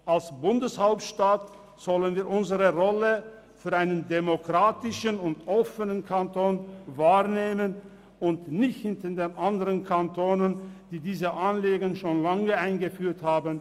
Als Sitz der Bundeshauptstadt sollten wir unsere Rolle als demokratischer und offener Kanton wahrnehmen und nicht hinter den anderen Kantonen hinterherhinken, die dieses Anliegen schon längst umgesetzt haben.